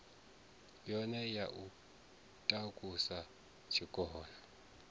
yone ya u takusa tshikona